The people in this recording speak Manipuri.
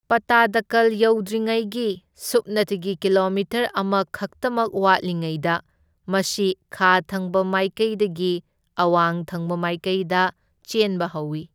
ꯄꯠꯇꯗꯀꯜ ꯌꯧꯗ꯭ꯔꯤꯉꯩꯒꯤ ꯁꯨꯞꯅꯇꯒꯤ ꯀꯤꯂꯣꯃꯤꯇꯔ ꯑꯃ ꯈꯛꯇꯃꯛ ꯋꯥꯠꯂꯤꯉꯩꯗ ꯃꯁꯤ ꯈꯥ ꯊꯪꯕ ꯃꯥꯏꯀꯩꯗꯒꯤ ꯑꯋꯥꯡ ꯊꯪꯕ ꯃꯥꯏꯀꯩꯗ ꯆꯦꯟꯕ ꯍꯧꯏ꯫